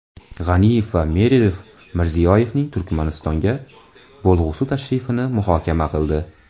G‘aniyev va Meredov Mirziyoyevning Turkmanistonga bo‘lg‘usi tashrifini muhokama qildi.